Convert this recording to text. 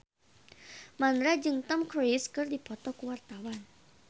Mandra jeung Tom Cruise keur dipoto ku wartawan